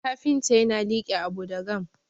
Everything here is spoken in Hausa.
kafinta yana like Abu da gama